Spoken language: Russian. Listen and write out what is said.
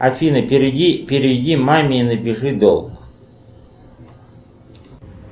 афина переведи маме напиши долг